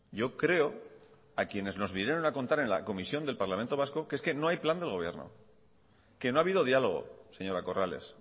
yo creo a quienes nos vinieron a contar en la comisión del parlamento vasco que es que no hay plan del gobierno que no ha habido diálogo señora corrales